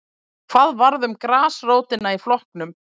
Hvað varð um grasrótina í flokknum?